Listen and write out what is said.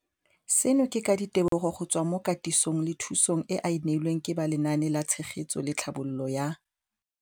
Seno ke ka ditebogo go tswa mo katisong le thu song eo a e neilweng ke ba Lenaane la Tshegetso le Tlhabololo ya